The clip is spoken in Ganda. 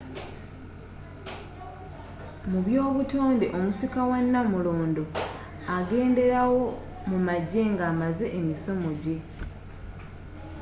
mu by'obutonde omusika wa nnamulondo agenderawo mu magye nga amaze emisomo gye